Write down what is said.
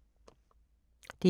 DR2